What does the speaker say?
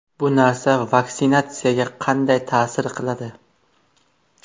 Bu narsa vaksinatsiyaga qanday ta’sir qiladi?